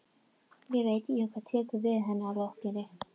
Ég veit ekki hvað tekur við að henni lokinni.